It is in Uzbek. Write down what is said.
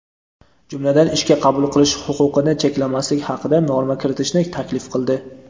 jumladan ishga qabul qilish huquqini cheklamaslik haqida norma kiritishni taklif qildi.